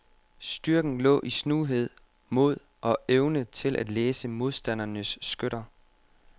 Styrken lå i snuhed, mod og evne til at læse modstandernes skytter.